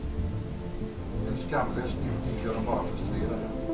Men skamlös njutning gör dem bara frustrerade.